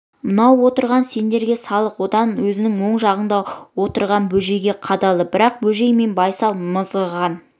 мынау отырған сендерге салық одан өзінің оң жағында отырған бөжейге қадалды бірақ бөжей мен байсал мызғыған